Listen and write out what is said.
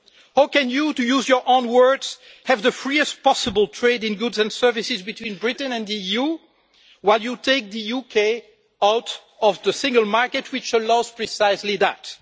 How can you to use your own words have the freest possible trade in goods and services between Britain and the EU while you take the UK out of the single market, which allows precisely that?